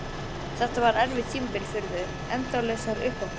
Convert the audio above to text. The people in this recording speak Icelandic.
Þetta var erfitt tímabil fyrir þau, endalausar uppákomur.